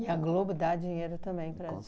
E a Globo dá dinheiro também para as. Com